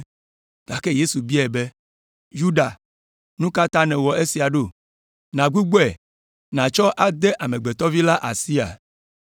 Gake Yesu biae be, “Yuda, nu ka ta nèwɔ esia ɖo, nugbugbɔe natsɔ ade Amegbetɔ Vi la asia?”